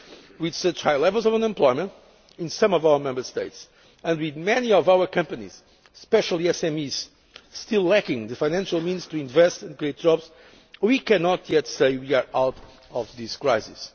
With such high levels of unemployment in some of our Member States and with many of our companies, especially SMEs, still lacking the financial means to invest and create jobs, we cannot yet say that we are out of the